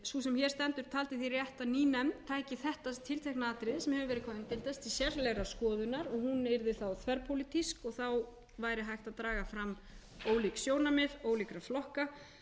sú sem hér stendur taldi því rétt að ný nefnd tæki þetta tiltekna atriði sem hefur verið hvað umdeildast til sérlegrar skoðunar og hún yrði þá þverpólitísk og þá væri hægt að draga fram ólík sjónarmið ólíkra flokka